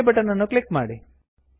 okay button ಅನ್ನು click ಮಾಡಿ